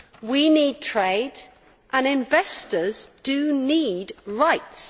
We need trade, and investors do need rights.